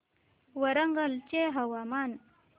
वरंगल चे हवामान